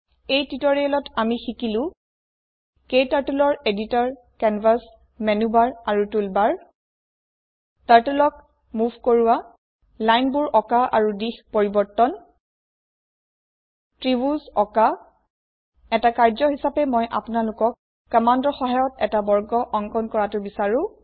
এই টিউটৰিয়েলত আমি শিকিলো ক্টাৰ্টল ৰ এডিটৰ কেনভাছ মেনুবাৰ আৰু টুলবাৰ Turtleক মোভ কৰোওৱা লাইনবোৰ অকাঁ আৰু দিশ পৰিবৰ্তন ত্ৰিভূজ অকাঁ এটা কাৰ্য হিচাপে মই আপোনালোকক কম্মান্দৰ সহায়ত এটা বৰ্গ অঙ্কণ কৰাটো বিচাৰো